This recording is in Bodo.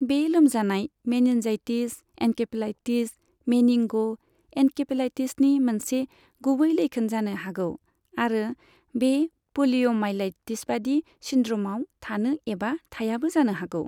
बे लोमजानाय, मेनिन्जाइटिस, एनकेफेलाइटिस, मेनिंग' एनकेफलाइटिसनि मोनसे गुबै लैखोन जानो हागौ, आरो बे प'लिय'माइलाइटिसबादि सिन्ड्र'मआव थानो एबा थायाबो जानो हागौ।